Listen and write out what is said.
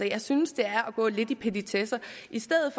jeg synes det er at gå lidt i petitesser i stedet